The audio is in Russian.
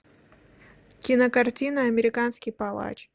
кинокартина американский палач